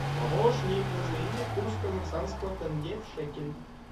помощник назови мне курс казахстанского тенге в шекель